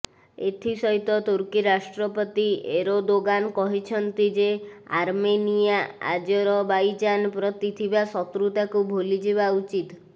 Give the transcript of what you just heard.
ଏଥି ସହିତ ତୁର୍କୀ ରାଷ୍ଟ୍ରପତି ଏରଦୋଗାନ କହିଛନ୍ତି ଯେ ଆର୍ମେନିଆ ଆଜେରବାଇଜାନ ପ୍ରତି ଥିବା ଶତ୍ରୁତାକୁ ଭୁଲିଯିବା ଉଚିତ